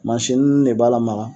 Mansini de b'a lamaga.